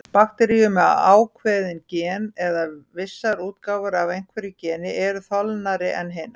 Bakteríur með ákveðin gen, eða vissar útgáfur af einhverju geni, eru þolnari en hinar.